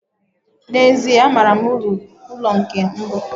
na ezie, amaara m uru nke ụlọ mbu